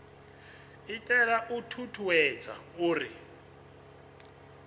itela u ṱuṱuwedza uri hu